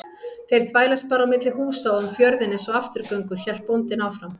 Þeir þvælast bara á milli húsa og um fjörðinn einsog afturgöngur, hélt bóndinn áfram.